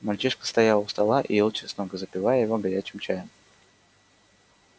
мальчишка стоял у стола и ел чеснок запивая его горячим чаем